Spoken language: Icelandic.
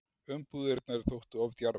Umbúðirnar þóttu of djarfar